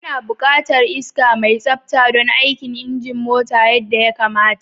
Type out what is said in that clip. Ana buƙatar iska mai tsabta don aikin injin mota yadda ya kamata